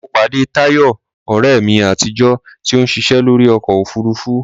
Mo pàdé Táyọ̀, ọ̀rẹ́ mi àtijọ́, tí ó ń ṣiṣẹ́ lórí ọkọ òfurufú